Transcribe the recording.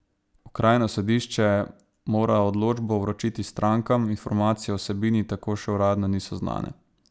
Okrajno sodišče mora odločbo vročiti strankam, informacije o vsebini tako še uradno niso znane.